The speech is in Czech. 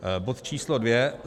Bod číslo dvě.